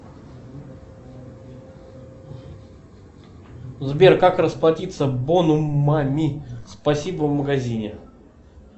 сбер как расплатиться бонумами спасибо в магазине